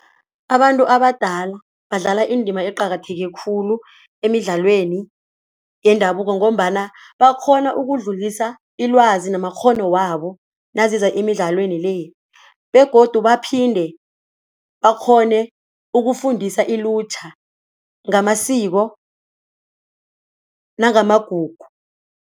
Abantu abadala badlala indima eqakatheke khulu emidlalweni yendabuko ngombana bakghona ukudlulisa ilwazi namakghono wabo naziza emidlalweni le begodu baphinde bakghone ukufundisa ilutjha ngamasiko namagugu.